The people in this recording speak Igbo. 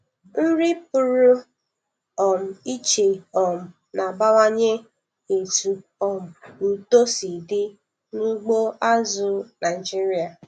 Nri pụrụ um iche um na-abawanye etu um uto si dị n'ugbo azụ̀ Naịjiria.